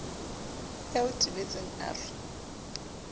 ya o tebetseng a re